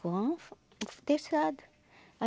Com o terçado.